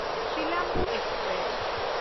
Silambu express